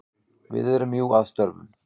Við erum jú að störfum.